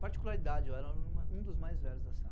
Particularidade, eu era o aluno, um dos mais velhos da sala.